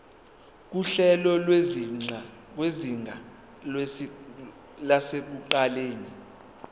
nguhlelo lwezinga lasekuqaleni